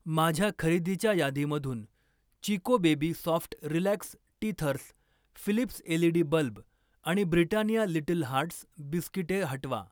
माझ्या खरेदीच्या यादीमधून Chicco baby soft relax teethers, Philips LED bulb आणि ब्रिटानिया लिटल हार्ट्स बिस्किटे हटवा.